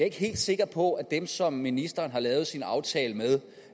ikke helt sikker på at dem som ministeren har lavet sin aftale med